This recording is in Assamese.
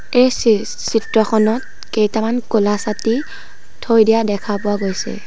এই চিত্ৰখনত কেইটামান ক'লা ছাতি থৈ দিয়া দেখা পোৱা গৈছে।